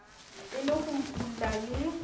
e le ho utulla le